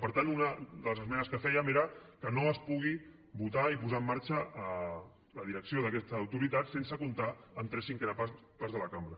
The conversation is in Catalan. per tant una de les esmenes que fèiem era que no es pugui votar i posar en marxa la direcció d’aquesta autoritat sense comptar amb tres cinquenes parts de la cambra